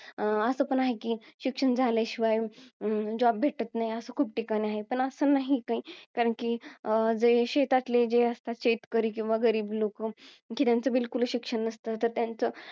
असं पण आहे कि, शिक्षण झाल्याशिवाय अं job भेटत नाही. असं खूप ठिकाणी आहे, पण असं नाही कि, कारण कि, अं जे शेतातले असतात जे शेतकरी, किंवा गरीब लोकं, कि त्याचं बिलकुलच शिक्षण नसतं. तर त्याचं,